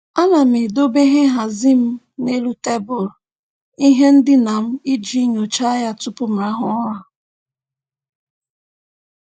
A na m edobe ihe nhazị m n'elu tebụl ihe ndịna m iji nyocha ya tụpụ m rahụ ụra.